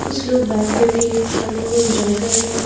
कुछ लोग बैठ करके खाने को एंजॉय कर रहे हैं।